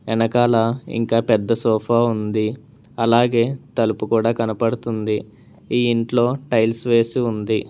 ఎనకాల ఇంకా పెద్ద సోఫా ఉంది అలాగే తలుపు కూడా కనపడుతుంది ఈ ఇంట్లో టైల్స్ వేసి ఉంది.